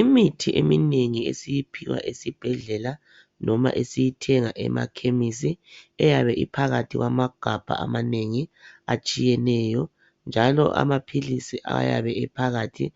Imithi eminengi esiyiphiwa esibhedlela loba esiyithenga emachemistry eyabe iphakathi kwamagabha amanengi atshiyeneyo njalo amapills njalo amapills ayabe ephakathi